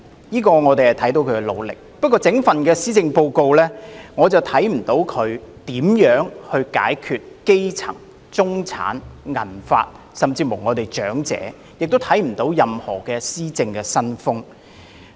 可是，在這份施政報告中，卻未見她如何解決基層、中產及長者的問題，也不見任何施政新風。